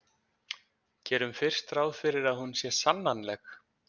Gerum fyrst ráð fyrir að hún sé sannanleg.